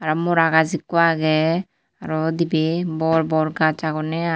R mora gaas ikko age aro dibay bor bor gaas agonne i.